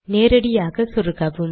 நேரடியாக சொருகவும்